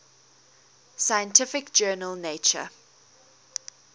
scientific journal nature